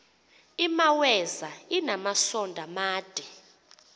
imaweza inamasond amade